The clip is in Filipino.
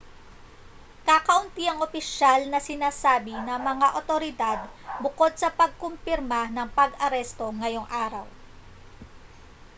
kakaunti ang opisyal na sinabi ng mga otoridad bukod sa pagkumpirma ng pag-aresto ngayong araw